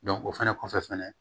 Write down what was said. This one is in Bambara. o fɛnɛ kɔfɛ fɛnɛ